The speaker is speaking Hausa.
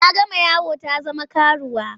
Ta gama yawo ta zama karuwa.